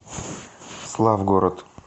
славгород